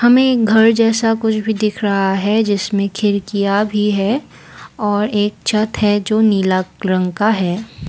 हमें घर जैसा कुछ भी दिख रहा है जिसमें खिड़कियां भी है और एक छत है जो नीला रंग का है।